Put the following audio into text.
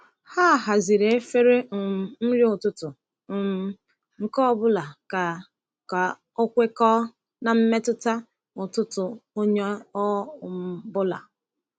Ha haziri efere um nri ụtụtụ um nke ọ bụla ka ka ọ kwekọọ na mmetụta ụtụtụ onye ọ um bụla.